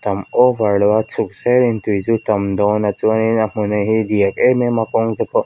tam over lo a chhuk senin tui chu tam dâwn a chuanin a hmun a hi diak em em a kawng te pawh--